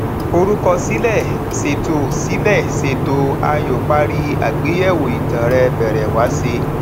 forúkọ sílè ṣètò sílè ṣètò ààyò parí àgbéyẹwò ìtàn rẹ bẹrẹ wáṣé